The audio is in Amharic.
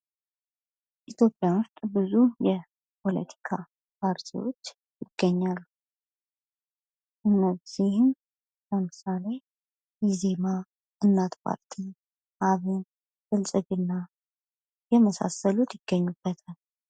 በኢትዮጵያ ብዙ የፖለቲካ ፓርቲዎች ይገኛሉ ፤ ከነዚህም ለምሳሌ ኢዜማ፥ እናት ፓርቲ፥ አብን ፥ብልጽግና የመሳሰሉት ይገኙበታል።